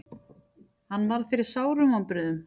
Hann varð fyrir sárum vonbrigðum.